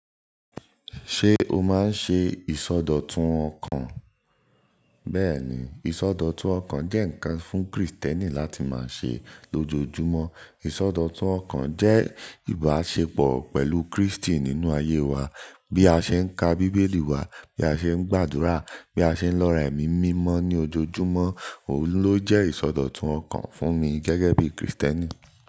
Ṣé o máa ń ṣe ìsọdọ̀tun ọkàn? Bẹ́ẹ̀ni, ìsọdọ̀tun ọkàn jẹ́ ǹkan fún Kristẹni láti máa ṣe lójoojúmọ́. Ìsọdọ̀tun ọkàn jẹ́ ìbáṣepọ̀ pẹ̀lú Kristi nínú ayé wa. Bí a ṣe ń ka Bíbélì wa, bí a ṣe ń gbàdúrà, bí a ṣe ń lọra ẹ̀mí mímọ́ ní ojoojúmọ́, òun ló jẹ́ ìsọdọ̀tun ọkàn fún mi gẹ́gẹ́ bí Kristẹni.